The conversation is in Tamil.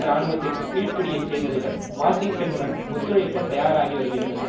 இராணுவத்திற்கு கீழ்ப்படியச் செய்ததுடன் வாஷிங்டனுடன் ஒத்துழைக்கத் தயாராகி வருகின்றனர்